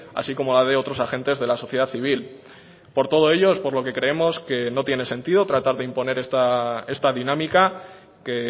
así como la de otros agentes de la sociedad civil por todo ello es por lo que creemos que no tiene sentido tratar de imponer esta dinámica que